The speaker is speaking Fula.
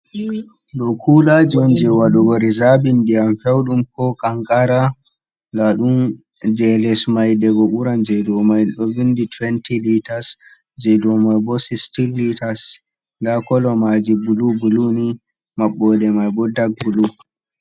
do kulajiwonje wadugo rizabindiyam feudum ko kankara ladun jeles mai dag buran je domai 22 te0 litars je domai bo sist liters da kolomaji bulu buluni mabbode mai bo dag bulu